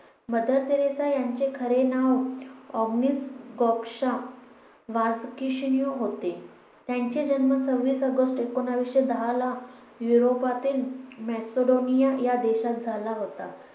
mother Teresa यांचे खरे नाव ऑग्नेस गॊक्षा बोजाक्सहिऊ होते त्यांचा जन्म सव्वीस ऑगस्ट एकोणविसशे दहा ला युरोपातील मॅक्सिडोनिया या देशात झाला होता